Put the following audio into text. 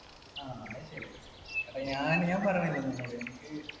ആ അതു ശരിയാണ്. എടാ ഞാൻ, ഞാൻ പറഞ്ഞില്ലേ നിന്നോട്, എനിക്ക്